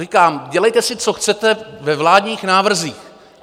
Říkám, dělejte si, co chcete, ve vládních návrzích.